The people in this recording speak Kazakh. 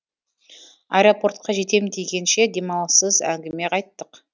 аэропортқа жетем дегенше демалыссыз әңгіме айттық